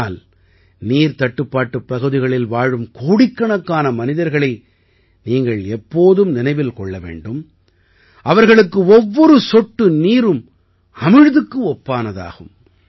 ஆனால் நீர்த்தட்டுப்பாட்டுப் பகுதிகளில் வாழும் கோடிக்கணக்கான மனிதர்களை நீங்கள் எப்போதும் நினைவில் கொள்ள வேண்டும் அவர்களுக்கு ஒவ்வொரு சொட்டு நீரும் அமிழ்துக்கு ஒப்பானதாகும்